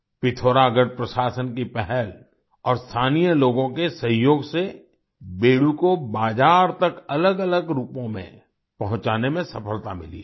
पिथौरागढ़ प्रशासन की पहल और स्थानीय लोगों के सहयोग से बेडू को बाजार तक अलगअलग रूपों में पहुँचाने में सफलता मिली है